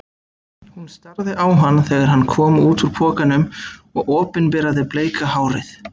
Hún starði á hann þegar hann kom út úr pokanum og opinberaði bleika hárið.